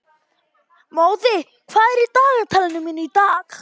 Móði, hvað er á dagatalinu mínu í dag?